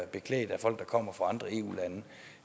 folk der kommer fra andre eu lande